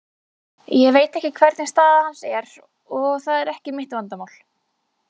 Ég veit ekki hvernig staða hans er og það er ekki mitt vandamál.